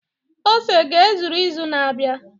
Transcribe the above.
ose ga-ezuru izu na-abịa?